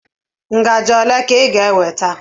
ngaji ole ka ị ga-eweta?